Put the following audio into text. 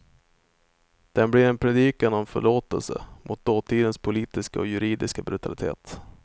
Den blir en predikan om förlåtelse, mot dåtidens politiska och juridiska brutalitet.